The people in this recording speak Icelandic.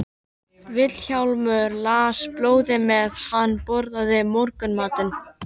Vilhjálmur las blöðin meðan hann borðaði morgunmatinn.